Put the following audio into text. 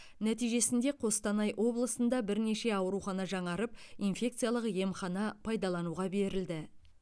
нәтижесінде қостанай облысында бірнеше аурухана жаңарып инфекциялық емхана пайдалануға берілді